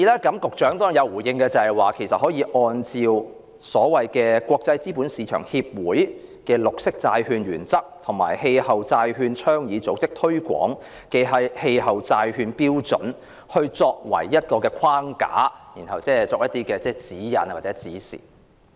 局長對此亦有回應，他說"綠色"的標準可以國際資本市場協會的《綠色債券原則》和氣候債券倡議組織所推廣的《氣候債券標準》作為框架，然後作出一些指引或指示。